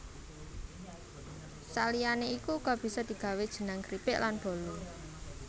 Saliyane iku uga bisa digawe jenang kripik lan bolu